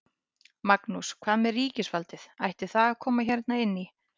Magnús: Hvað með ríkisvaldið, ætti það að koma hérna inn í?